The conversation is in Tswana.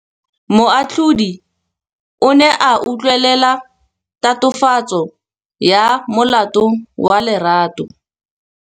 Moatlhodi o ne a utlwelela tatofatsô ya molato wa Lerato.